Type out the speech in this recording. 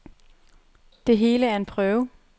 Det hele er en prøve.